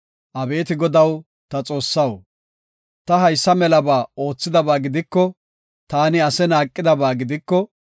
Abeeti Godaw ta Xoossaw, ta haysa melaba oothidaba gidiko, taani ase naaqidaba gidiko,